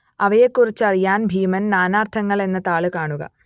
അവയെക്കുറിച്ചറിയാൻ ഭീമൻ നാനാർത്ഥങ്ങൾ എന്ന താൾ കാണുക